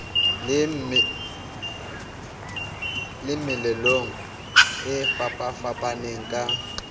le meelelong e fapafapaneng ka